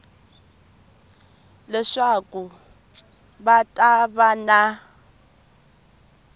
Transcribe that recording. leswaku va ta va na